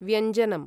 व्यञ्जनम्